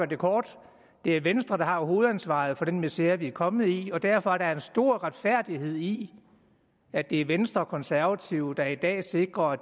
det kort det er venstre der har hovedansvaret for den misere vi kommet i og derfor er der en stor retfærdighed i at det er venstre og konservative der i dag sikrer at